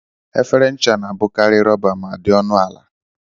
Efere ncha na-abụkarị rọba ma di ọnụ ala.